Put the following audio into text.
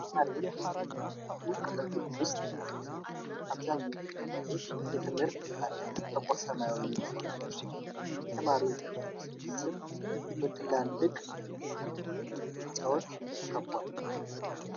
ተማሪዎች በትምህርት ቤቱ ቅጥር ግቢ ውስጥ ተሰብስበዏል። አብዛኞቹ ተማሪዎች የትምህርት ቤታቸውን ጥቁር ሰማያዊ ዩኒፎርም ለብሰዋል። የተማሪዎቹ ስብስብ በትላልቅ የትምህርት ቤት ህንፃዎች ተከቧል።